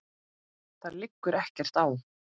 Það liggur ekkert á.